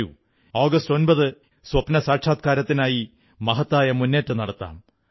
വരൂ ഈ ആഗസ്റ്റ് 8 ന് സ്വപ്നസാക്ഷാത്കാരത്തിനായി മഹത്തായ മുന്നേറ്റം നടത്താം